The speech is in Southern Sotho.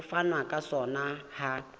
ho fanwa ka sona ha